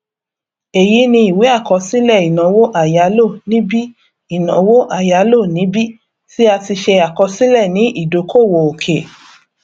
èyí ni iwe àkọsílẹ ìnáwó àyálò níbi ìnáwó àyálò níbi tí a ti ṣe àkọsílẹ ni ìdókòwò òkè